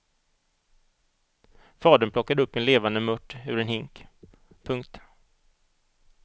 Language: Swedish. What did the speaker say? Fadern plockade upp en levande mört ur en hink. punkt